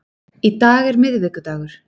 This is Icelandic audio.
Í dag er miðvikudagur.